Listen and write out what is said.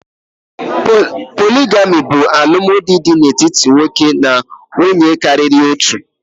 Poligami bụ alụmdinanwuye dị n'etiti nwoke na nwunye karịrị otu.